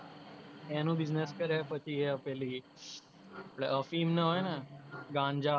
એનો business કરે પછી એ પેલી આપણે ના હોઇ ને ગાંજા